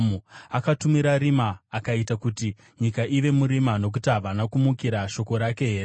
Akatumira rima akaita kuti nyika ive murima, nokuti havana kumukira shoko rake here?